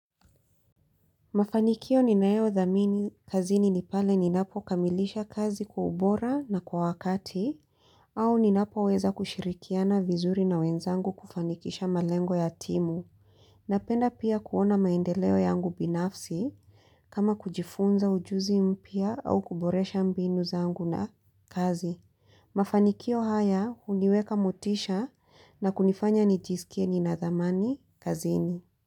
Mafanikio ninayodhamini kazini ni pale ninapokamilisha kazi kwa ubora na kwa wakati au ninapoweza kushirikiana vizuri na wenzangu kufanikisha malengo ya timu Napenda pia kuona maendeleo yangu binafsi kama kujifunza ujuzi mpya au kuboresha mbinu zangu na kazi Mafanikio haya huniweka motisha na kunifanya nijisikie nina dhamani kazini.